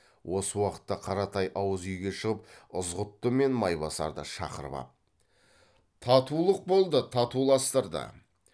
осы уақытта қаратай ауызүйге шығып ызғұтты мен майбасарды шақырып ап татулық болды татуластырды